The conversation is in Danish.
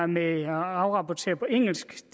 med at afrapportere på engelsk